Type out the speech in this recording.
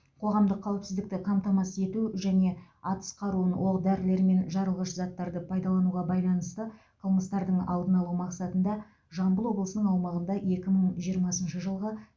қоғамдық қауіпсіздікті қамтамасыз ету және атыс қаруын оқ дәрілер мен жарылғыш заттарды пайдалануға байланысты қылмыстардың алдын алу мақсатында жамбыл облысының аумағында екі мың жиырмасыншы жылғы